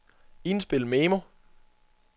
indspil memo